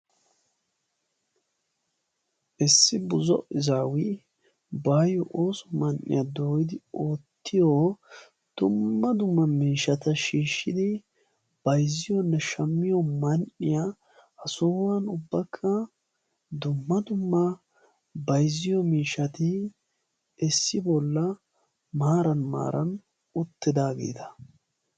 Issi buzo izaawi baayyo ooso man"iya dooyidi oottiyo dumma dumma miishshata shiishshidi bayzziyoonne shammiyoo man"iyaa. Ha sohuwan ubbakka dumma dumma bayzziyoo miishshati issi bolla maaran maaran uttidaageeta.